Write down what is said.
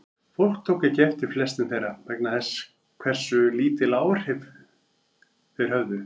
Fólk tók ekki eftir flestum þeirra vegna þess hversu lítil áhrif þeir höfðu.